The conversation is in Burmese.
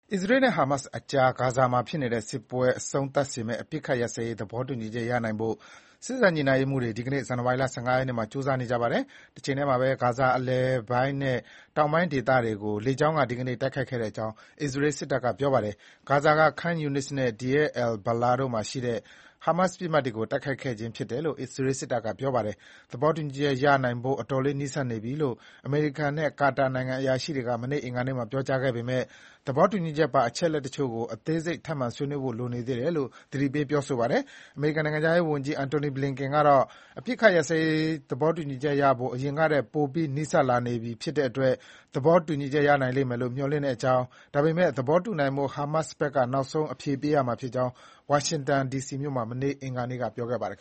အစ္စရေးနဲ့ဟာမတ်စ်အကြား ဂါဇာမှာဖြစ်နေတဲ့စစ်ပွဲအဆုံးသတ်စေမယ့် အပစ်အခတ်ရပ်စဲရေး သဘောတူညီချက်ရနိုင်ဖို့ စေ့စပ်ညှိနှိုင်းရေးမှူးတွေ ဒီကနေ့ ဇန်နဝါရီ ၁၅ ရက်နေ့မှာ ကြိုးစားနေကြ ပါတယ်။ တချိန်တည်းမှာပဲ ဂါဇာအလယ်ပိုင်းနဲ့ တောင်ပိုင်းဒေသတွေကို လေကြောင်းက ဒီကနေ့ တိုက်ခိုက်ခဲ့ကြောင်း အစ္စရေးစစ်တပ်က ပြောပါတယ်။ ဂါဇာက Khan Yunis နဲ့ Deir al-Balah တို့မှာရှိတဲ့ ဟာမတ်စ်ပစ်မှတ်တွေကို တိုက်ခိုက်ခဲ့ကြောင်း အစ္စရေး စစ်တပ်က ပြောပါတယ်။ သဘောတူညီချက်ရနိုင်ဖို့ အတော်လေးနီးစပ်နေပြီလို့ အမေရိကန်နဲ့ ကာတာအရာရှိတွေက မနေ့ အင်္ဂါနေ့မှာ ပြောကြားခဲ့ပေမယ့် သဘောတူညီချက်ပါ အချက်အလက် တချို့ကို အသေးစိတ်အချက်တချို့ကို ထပ်မံဆွေးနွေးဖို့ လိုနေသေးတယ်လို့ သတိပေး ပြောဆိုပါတယ်။ အမေရိကန်နိုင်ငံခြားရေးဝန်ကြီး Antony Blinken ကတော့ အပစ်ရပ်ရေးသဘောတူညီချက်ရဖို့ အရင်ကထက် ပိုပြီး နီးစပ်လာနေပြီ ဖြစ်တဲ့အတွက် သဘောတူညီချက် ရနိုင်လိမ့်မယ်လို့ မျှော်လင့် ကြောင်း၊ ဒါပေမယ့် သဘောတူနိုင်ဖို့ ဟာမတ်စ်ဘက်က နောက်ဆုံး အဖြေပေးရမှာဖြစ်ကြောင်း ဝါရှင်တန်မြို့မှာ မနေ့ အင်္ဂါနေ့က ပြောပါတယ်။